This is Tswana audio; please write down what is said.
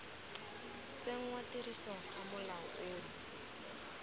tsenngwa tirisong ga molao ono